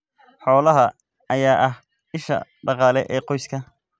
Xoolahan ayaa ah isha dhaqaale ee qoyska.